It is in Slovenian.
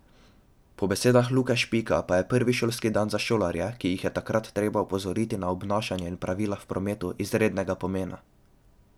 Po besedah Luke Špika pa je prvi šolski dan za šolarje, ki jih je takrat treba opozoriti na obnašanje in pravila v prometu, izrednega pomena.